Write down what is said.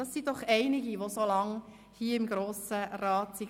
Es sind doch einige, die so lange im Grossen Rat waren.